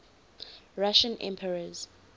russian emperors